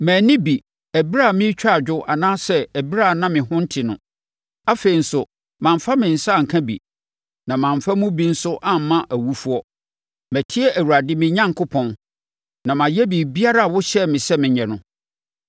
Manni bi ɛberɛ a meretwa adwo anaasɛ ɛberɛ a na me ho nte no. Afei nso, mamfa me nsa anka bi, na mamfa mu bi nso amma awufoɔ. Matie Awurade, me Onyankopɔn, na mayɛ biribiara a wohyɛɛ me sɛ menyɛ no.